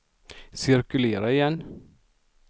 cirkulera igen